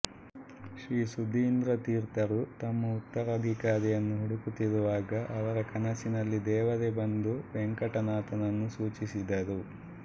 ಶ್ರೀ ಸುಧೀಂದ್ರ ತೀರ್ಥರು ತಮ್ಮ ಉತ್ತರಾಧಿಕಾರಿಯನ್ನು ಹುಡುಕುತ್ತಿರುವಾಗ ಅವರ ಕನಸಿನಲ್ಲಿ ದೇವರೇ ಬಂದು ವೆಂಕಟನಾಥನನ್ನು ಸೂಚಿಸಿದರು